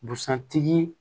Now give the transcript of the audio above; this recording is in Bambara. Busan tigi